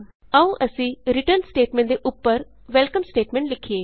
ਆਉ ਅਸੀਂ return statement ਦੇ ਉਪਰ ਵੈਲਕਮ ਸਟੇਟਮੈਂਟ ਲਿਖੀਏ